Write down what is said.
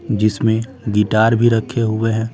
जिसमें गिटार भी रखे हुए हैं।